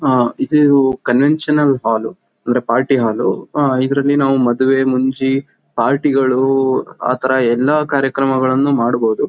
ಹಾ ಇದು conventional hall ಲು ಅಂದ್ರೆ ಪಾರ್ಟಿ ಹಾಲ್ ಲು. ಆ ಇದ್ರಲ್ಲಿ ನಾವ್ ಮದ್ವೆ-ಮುಂಜಿ ಪಾರ್ಟಿ ಗಳು ಆಥರ ಎಲ್ಲ ಕಾರ್ಯಕ್ರಮಗಳನ್ನು ಮಾಡ್ಬೋದು.